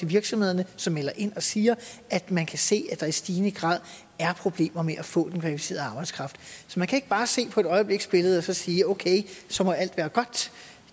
virksomhederne som melder ind og siger at man kan se at der i stigende grad er problemer med at få den kvalificerede arbejdskraft så man kan ikke bare se på øjebliksbilledet og så sige okay så må alt være godt